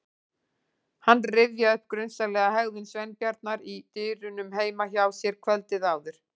Hann rifjaði upp grunsamlega hegðun Sveinbjarnar í dyrunum heima hjá sér kvöldið áður.